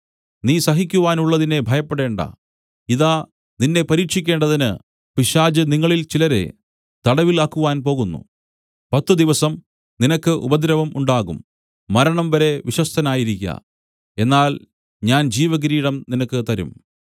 നീ സഹിക്കുവാനുള്ളതിനെ ഭയപ്പെടേണ്ടാ ഇതാ നിന്നെ പരീക്ഷിക്കേണ്ടതിന് പിശാച് നിങ്ങളിൽ ചിലരെ തടവിൽ ആക്കുവാൻ പോകുന്നു പത്തു ദിവസം നിനക്ക് ഉപദ്രവം ഉണ്ടാകും മരണംവരെ വിശ്വസ്തനായിരിക്ക എന്നാൽ ഞാൻ ജീവകിരീടം നിനക്ക് തരും